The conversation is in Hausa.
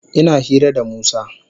Ina hira da Musa.